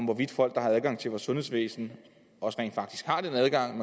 hvorvidt folk der har adgang til vores sundhedsvæsen også rent faktisk har den adgang